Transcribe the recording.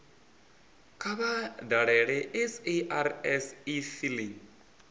kha vha dalele sars efiling